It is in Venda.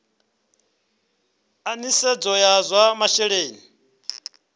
a nisedzo ya zwa masheleni